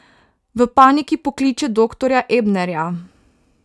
V paniki pokliče doktorja Ebnerja.